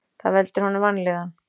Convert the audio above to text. Það veldur honum vanlíðan.